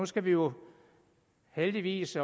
skal vi jo heldigvis